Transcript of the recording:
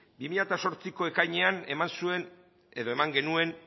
bi mila zortziko ekainean eman zuen edo eman genuen